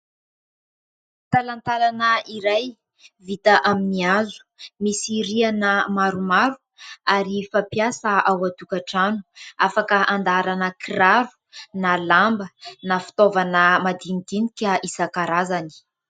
Talantalana iray vita amin'ny hazo, misy rihana maromaro ary fampiasa ao an-tokatrano; afaka andaharana kiraro na lamba na fitaovana madinidinika isankarazany.